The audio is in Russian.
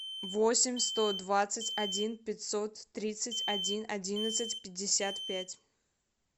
восемь сто двадцать один пятьсот тридцать один одиннадцать пятьдесят пять